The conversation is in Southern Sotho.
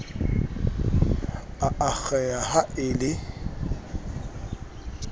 a akgeha ha a le